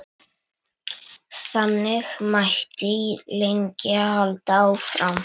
Þannig mætti lengi halda áfram.